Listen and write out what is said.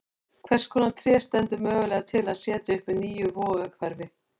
Hvers konar tré stendur mögulega til að setja upp í nýju Vogahverfi?